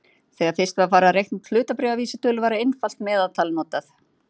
Þegar fyrst var farið að reikna út hlutabréfavísitölur var einfalt meðaltal notað.